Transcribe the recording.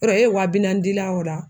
Yɔrɔ e wa bi naani dila o la.